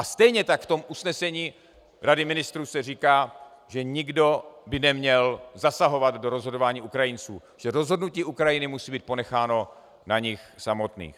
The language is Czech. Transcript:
A stejně tak v tom usnesení Rady ministrů se říká, že nikdo by neměl zasahovat do rozhodování Ukrajinců, že rozhodnutí Ukrajiny musí být ponecháno na nich samotných.